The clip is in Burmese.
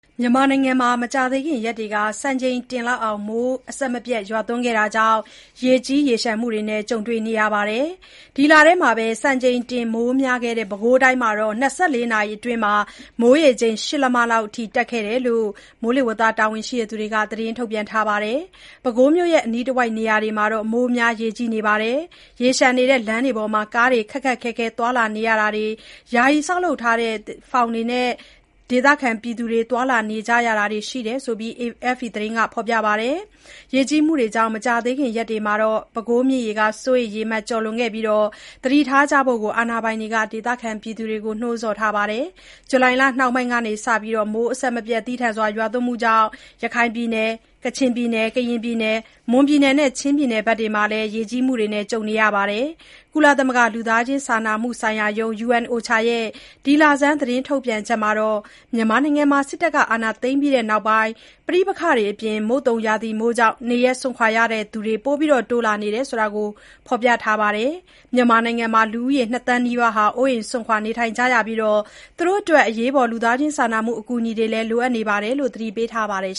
မြန်မာနိုင်ငံမှာ မကြာသေးခင်ရက်တွေက စံချိန်တင်မိုးရွာသွန်းခဲ့တာကြောင့် ရေကြီးမှုတွေနဲ့ ကြုံနေရပါတယ်။ ဒီလထဲ စံချိန်တင်မိုးများခဲ့တဲ့ ပဲခူးတိုင်းမှာ ၂၄ နာရီအတွင်း မိုးရေချိန် ၈ လက်မလောက်အထိ ရှိခဲ့တယ်လို့လည်း တာဝန်ရှိသူတွေက သတင်းထုတ်ပြန်ခဲ့တာပါ။ ပဲခူးမြို့နဲ့ အနီးတဝိုက်နေရာတွေမှာ မိုးများရေကြီးနေပြီး ရေလျှံနေတဲ့ လမ်းတွေပေါ်မှာ ကားတွေ ခက်ခက်ခဲခဲ သွားလာနေရတာတွေ၊ ယာယီဆောက်လုပ်ထားတဲ့ ဖောင်တွေနဲ့ ဒေသခံတွေ သွားလာနေရတာတွေရှိတယ်လို့ AFP သတင်းက ဖော်ပြပါတယ်။ ရေကြီးမှုတွေကြောင့် မကြာခင်ရက်တွေမှာ ပဲခူးမြစ်ရေ စိုးရိမ်ရေမှတ် ကျော်လွန်နိုင်ပြီး သတိထားကြဖို့လည်း အာဏာပိုင်တွေက ဒေသခံတွေကို နှိုးဆော်ထားပါတယ်။ ဇူလိုင်လနှောင်းပိုင်းကစ မိုးသည်းထန်စွာ ရွာသွန်းမှုတွေကြောင့် ရခိုင်၊ ကချင်၊ ကရင်၊ မွန်နဲ့ ချင်းပြည်နယ်တွေမှာ ရေကြီးမှုတွေ ကြုံခဲ့ရတာပါ။ ကုလသမဂ္ဂ လူသားချင်းစာနာမှုဆိုင်ရာရုံး (UNOCHA) ရဲ့ ဒီလဆန်း သတင်းထုတ်ပြန်ချက်မှာတော့ မြန်မာနိုင်ငံမှာ စစ်အာဏာသိမ်းပြီးနောက်ပိုင်း ပဋိပက္ခတွေနဲ့ မုတ်သုန်ရာသီမိုးကြောင့် နေရပ်စွန့်ခွာရသူတွေ တိုးလာနေကြောင်း ဖော်ပြထားပါတယ်။ မြန်မာနိုင်ငံမှာ လူ ၂ သန်းနီးပါး အိုးအိမ်စွန့်ခွာနေထိုင်နေကြရပြီး၊ အရေးပေါ် အကူအညီတွေလိုအပ်နေတယ်လို့ သတိပေးထားပါတယ်